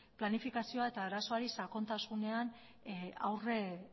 planifikazioa eta arazoari sakontasunean